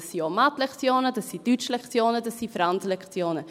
Es sind auch Mathelektionen, es sind Deutschlektionen, es sind Franzlektionen.